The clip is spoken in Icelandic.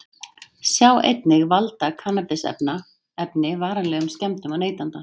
Sjá einnig: Valda kannabisefni varanlegum skemmdum á neytanda?